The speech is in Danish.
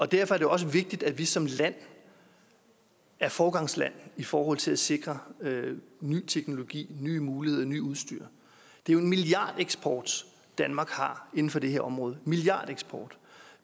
derfor er det også vigtigt at vi som land er foregangsland i forhold til at sikre ny teknologi nye muligheder nyt udstyr det er jo en milliardeksport danmark har inden for det her område milliardeksport